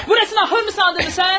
Burasını ahır mı sandınız siz?